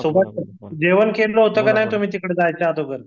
Subhash sir जेवण केलं होत का नाही तुमही तिकडे जायच्या अगोदर